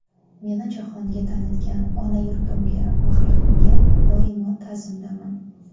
Meni jahonga tanitgan ona yurtimga va xalqimga doimo ta’zimdaman.